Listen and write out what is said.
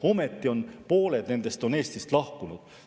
Ometi on pooled nendest Eestist lahkunud.